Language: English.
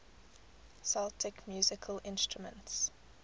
celtic musical instruments